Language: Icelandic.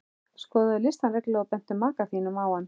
Skoðaðu listann reglulega og bentu maka þínum á hann.